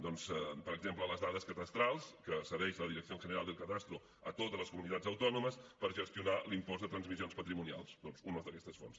doncs per exemple les dades cadastrals que cedeix la dirección general del catastro a totes les comunitats autònomes per gestionar l’impost de transmissions patrimonials doncs una d’aquestes fonts